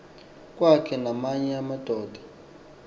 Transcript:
kwakhe namanye amadoda